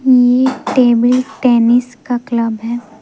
ये table tennis का club है।